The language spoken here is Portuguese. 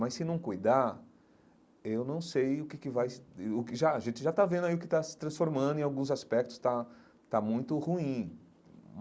Mas se não cuidar, eu não sei o que que vai... Já a gente já está vendo aí o que está se transformando em alguns aspectos, está está muito ruim.